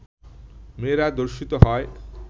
মেয়েরা ধর্ষিত হয়